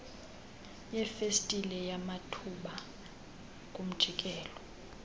yefestile yamathuba kumjikelo